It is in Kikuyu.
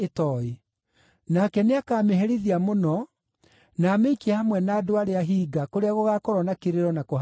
Nake nĩakamĩherithia mũno, na amĩikie hamwe na andũ arĩa hinga, kũrĩa gũgaakorwo na kĩrĩro na kũhagarania magego.